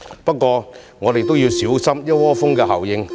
不過，我們應小心"一窩蜂"的效應。